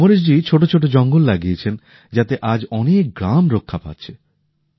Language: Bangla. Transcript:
অমরেশ জী ছোটো ছোটো জঙ্গল লাগিয়েছেন যাতে আজ অনেক গ্রাম রক্ষা পাচ্ছে